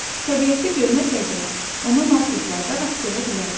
Təbiətdə görməsək belə, onu marketlərdə rast gələ bilərik.